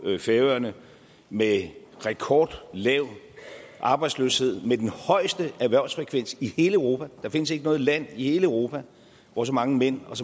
færøerne med en rekordlav arbejdsløshed og med den højeste erhvervsfrekvens i hele europa der findes ikke noget land i hele europa hvor så mange mænd og